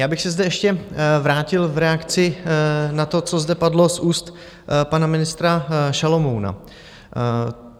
Já bych se zde ještě vrátil v reakci na to, co zde padlo z úst pana ministr Šalomouna.